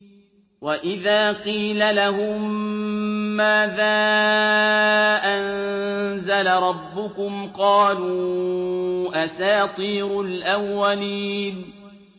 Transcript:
وَإِذَا قِيلَ لَهُم مَّاذَا أَنزَلَ رَبُّكُمْ ۙ قَالُوا أَسَاطِيرُ الْأَوَّلِينَ